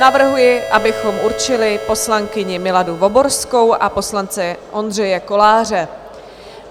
Navrhuji, abychom určili poslankyni Miladu Voborskou a poslance Ondřeje Koláře.